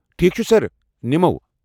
ٹھیک چھ سر، نِمَو۔